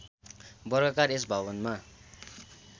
वर्गाकार यस भवनमा